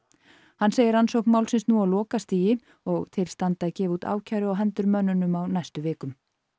hann segir rannsókn málsins nú á lokastigi og til standi að gefa út ákæru á hendur mönnunum á næstu vikum